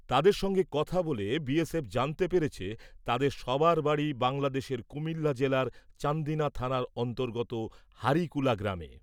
তাদের সঙ্গে কথা বলে বি এস এফ জানতে পেরেছে তাদের সবার বাড়ি বাংলাদেশের কুমিল্লা জেলার চান্দিনা থানার অন্তর্গত হারিকুলা গ্রামে ।